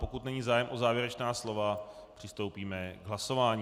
Pokud není zájem o závěrečná slova, přistoupíme k hlasování.